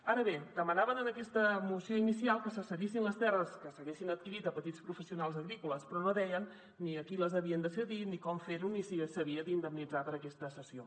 ara bé demanaven en aquesta moció inicial que se cedissin les terres que s’haguessin adquirit a petits professionals agrícoles però no deien ni a qui les havien de cedir ni com ferho ni si s’havia d’indemnitzar per aquesta cessió